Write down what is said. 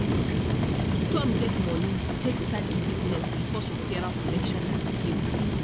tom get money to take start e business because of sarah connection and skill.